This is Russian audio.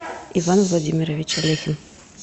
иван владимирович алехин